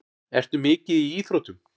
Ertu mikið í íþróttum?